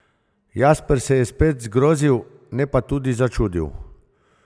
Jasper se je spet zgrozil, ne pa tudi začudil.